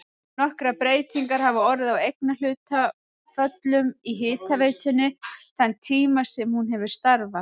Nokkrar breytingar hafa orðið á eignarhlutföllum í hitaveitunni þann tíma sem hún hefur starfað.